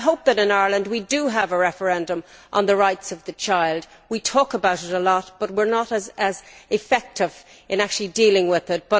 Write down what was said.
I hope that in Ireland, we will have a referendum on the rights of the child. We talk about it a lot, but we are not so effective in actually dealing with it.